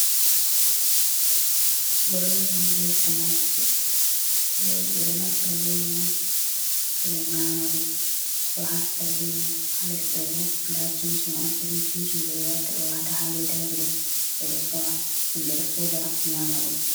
Bredi ɓe snaks ji. Bredi ɓe ɗo naftira be mai on ɓe ɗo nyama ɗum ɗo hasita be mai ha les ɗo bo nda cincin on irin cincin je ɓe watta ɓe wata ha ledaji ɗo ɓe ɗo sora himɓe ɗo soda nyama ɗum.